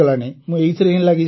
ମୁଁ ଏଥିରେ ହିଁ ଲାଗିଛି